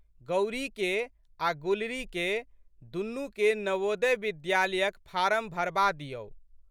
गौरीके आ' गुलरीके दुनूके नवोदय विद्यालयक फारम भरबा दिऔ।